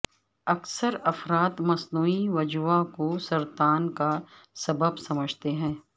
اکثر افراد مصنوعی وجوہ کو سرطان کا سبب سمجھتے ہیں